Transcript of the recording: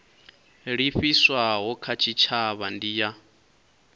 livhiswaho kha tshitshavha ndi ya